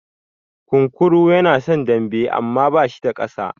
Kunkuru yana son dambe amma ba shi da ƙasa.